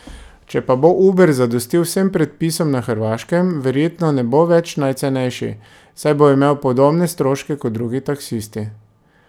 Če pa bo Uber zadostil vsem predpisom na Hrvaškem, verjetno ne bo več najcenejši, saj bo imel podobne stroške kot drugi taksisti.